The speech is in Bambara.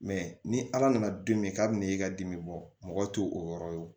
ni ala nana don min ka bɛn'i ka dimi bɔ mɔgɔ t'o yɔrɔ ye wo